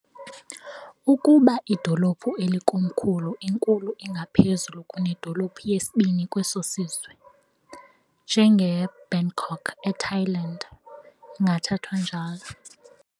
Ukuba idolophu elikomkhulu inkulu ingaphezulu kunedolophu yesibini kweso sizwe, njengeBangkok eThailand, ingathathwa njalo